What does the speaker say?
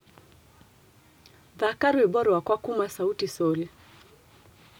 Thaka rwĩmbo rwakwa kũma sauti sol